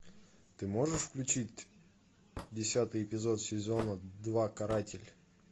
ты можешь включить десятый эпизод сезона два каратель